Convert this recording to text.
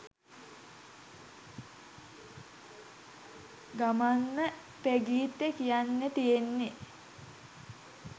ගමන්ම ප්‍රගීත්ට කියන්න තියෙන්නෙ